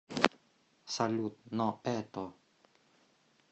салют но это